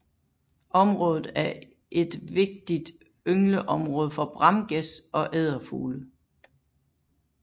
Området er et vigtig yngleområde for bramgæs og edderfugle